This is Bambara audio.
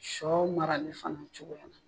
Shɔ mara li fana cogoya la.